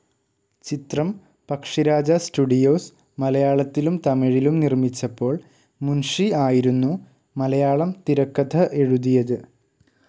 ചിത്രം പക്ഷിരാജ സ്റ്റുഡിയോസ്‌ മലയാളത്തിലും തമിഴിലും നിർമിച്ചപ്പോൾ മുൻഷി ആയിരുന്നു മലയാളം തിരക്കഥ എഴുതിയത്.